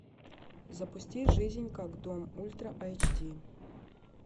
запусти жизнь как дом ультра эйч ди